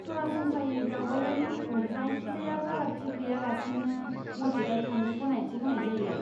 सरासनस्रायै दावबायारिफोरखौ जायखिजाया फारागथि गैयालासेनो मस्जिदाव थांनो गनायथि होनाय जायो।